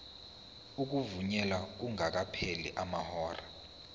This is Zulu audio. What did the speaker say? ukuvunyelwa kungakapheli amahora